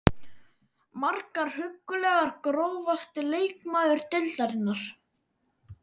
Margar huggulegar Grófasti leikmaður deildarinnar?